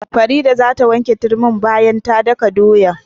Farida za ta wanke turmin bayan ka daka doyan.